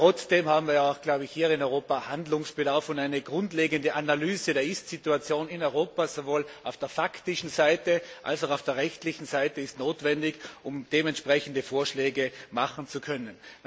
Trotzdem haben wir auch, glaube ich, hier in Europa Handlungsbedarf, und eine grundlegende Analyse der Ist Situation in Europa sowohl auf der faktischen Seite als auch auf der rechtlichen Seite ist notwendig, um entsprechende Vorschläge machen zu können.